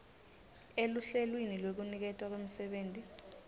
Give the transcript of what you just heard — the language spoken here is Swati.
eluhlelweni lwekuniketwa kwemisebenti